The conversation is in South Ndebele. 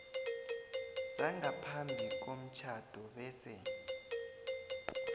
sangaphambi komtjhado bese